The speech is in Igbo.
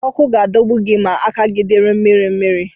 Ọkụ ga-adọ gị ma aka gị dị mmiri mmiri.